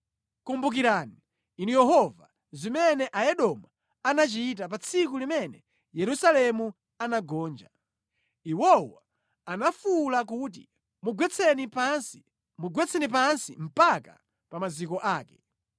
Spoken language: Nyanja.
Kumbukirani, Inu Yehova, zimene Aedomu anachita pa tsiku limene Yerusalemu anagonja. Iwowo anafuwula kuti, “Mugwetseni pansi, mugwetseni pansi mpaka pa maziko ake!”